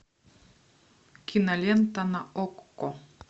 кинолента на окко